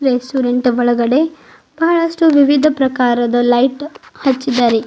Restaurant ಒಳಗಡೆ ಬಹಳಷ್ಟು ವಿವಿಧ ಪ್ರಕಾರದ ಲೈಟ್ ಹಚ್ಚಿದ್ದಾರೆ.